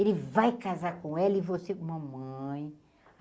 Ele vai casar com ela e você mamãe.